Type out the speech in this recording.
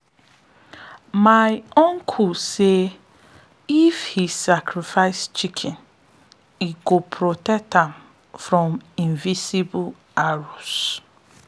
my uncle believe say if he sacrifice chicken he go protect am from invisible arrows.